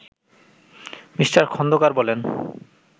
me: Khandakar বলেন